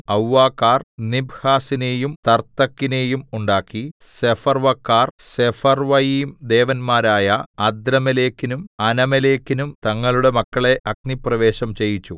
അവ്വക്കാർ നിബ്ഹസിനെയും തർത്തക്കിനെയും ഉണ്ടാക്കി സെഫർവ്വക്കാർ സെഫർവ്വയീംദേവന്മാരായ അദ്രമേലെക്കിനും അനമേലെക്കിനും തങ്ങളുടെ മക്കളെ അഗ്നിപ്രവേശനം ചെയ്യിച്ചു